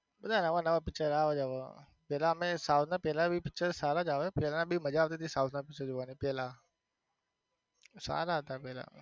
બધા આવા ને આવા જ picture આવે છે હવે પેલા અમે south ના પેલા picture સારા જ આવે પેલા બી મજા આવતી તી south ના picture જોવની પેલા સારા હતા પેલા.